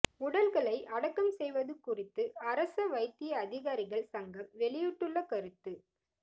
உடல்களை அடக்கம் செய்வது குறித்து அரச வைத்திய அதிகாரிகள் சங்கம் வெளியிட்டுள்ள கருத்து